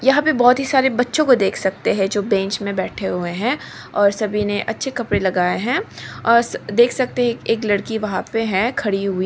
यहां पर बहोत ही सारे बच्चों को देख सकते है जो बेंच में बैठे हुएं है और सभी ने अच्छे कपड़े लगाए है और देख सकते है एक लड़की है वह पे खड़ी हुई।